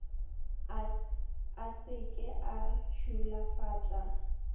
a se ke a šulafatša